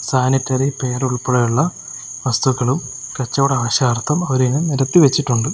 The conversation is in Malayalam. സാനിറ്ററി പേരുൾപ്പെടെയുള്ള വസ്തുക്കളും കച്ചവട ആവശ്യാർത്ഥം അവരതിനെ നിരത്തി വച്ചിട്ടുണ്ട്.